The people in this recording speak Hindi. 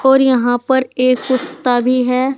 और यहां पर एक कुत्ता भी है।